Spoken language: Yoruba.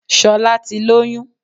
Solá ti lóyún